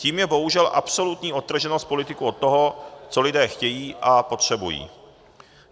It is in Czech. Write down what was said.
Tím je bohužel absolutní odtrženost politiků od toho, co lidé chtějí a potřebují.